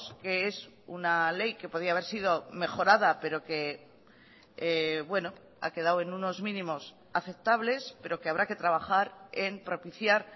que es una ley que podía haber sido mejorada pero que bueno ha quedado en unos mínimos aceptables pero que habrá que trabajar en propiciar